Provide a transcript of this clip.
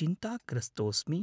चिन्ताग्रस्तोस्मि।